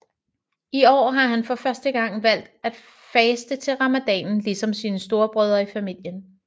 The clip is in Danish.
I år har han for første gang valgt at faste til ramadanen ligesom sine store brødre i familien